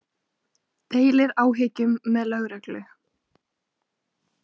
Deilir áhyggjum með lögreglu